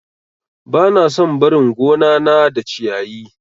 Bana son barin gonana da ciyayi.